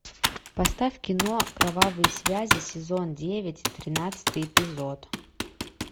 поставь кино кровавые связи сезон девять тринадцатый эпизод